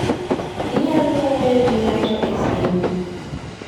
Inyalo wuoyo gi ng'ato e simu.